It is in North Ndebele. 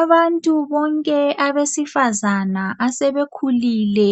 Abantu bonke abesifazane asebekhulile